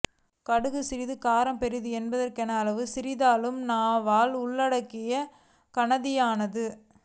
கடுகு சிறிது காரம் பெரிது என்பதற்கொப்ப அளவில் சிறியதானாலும் இந்நாவல் உள்ளடக்கத்தில் கனதியானது